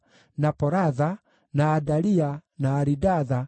na Poratha, na Adalia, na Aridatha,